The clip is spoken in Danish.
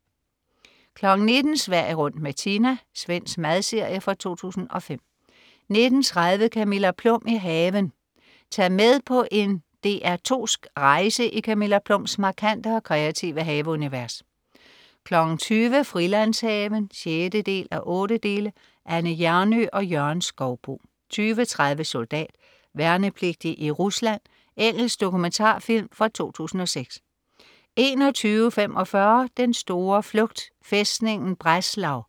19.00 Sverige rundt med Tina. Svensk madserie fra 2005 19.30 Camilla Plum i haven. Tag med på en DR2sk rejse i Camilla Plums markante og kreative haveunivers 20.00 Frilandshaven 6:8. Anne Hjernøe og Jørgen Skouboe 20.30 Soldat. Værnepligtig i Rusland. Engelsk dokumentarfilm fra 2006 21.45 Den store flugt. Fæstningen Breslav